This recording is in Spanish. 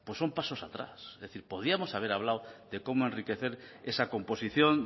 pues son pasos atrás es decir podríamos haber hablado de cómo enriquecer esa composición